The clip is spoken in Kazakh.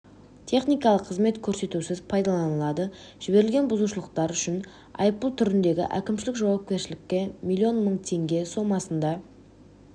техникалық қызмет көрсетусіз пайдаланылады жіберілген бұзушылықтар үшін айыппұл түріндегі әкімшілік жауапкершілікке миллион мың теңге соммасында